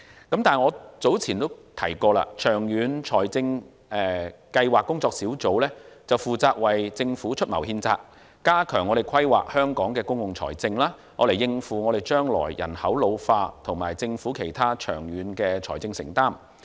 但是，我早前提到，長遠財政計劃工作小組，負責為政府出謀獻策，加強規劃香港的公共財政，以應付將來人口老化及政府其他長遠財政承擔。